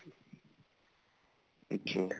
ਅੱਛਾ